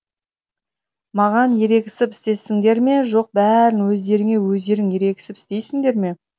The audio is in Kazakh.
маған ерегісіп істейсіңдер ме жоқ бәрін өздеріңе өздерің ерегісіп істейсіңдер ме